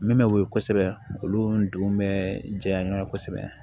Min bɛ woyo kosɛbɛ olu don bɛ jɛya ɲɔgɔn na kosɛbɛ